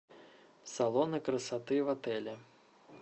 салоны красоты в отеле